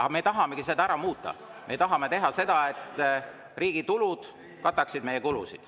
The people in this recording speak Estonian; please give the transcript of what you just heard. Seda me tahamegi ära muuta, me tahame teha nii, et riigi tulud kataksid meie kulusid.